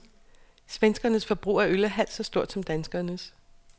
Svenskernes forbrug af øl er halvt så stort som danskernes.